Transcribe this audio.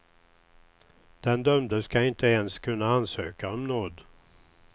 Den dömde skall inte ens kunna ansöka om nåd.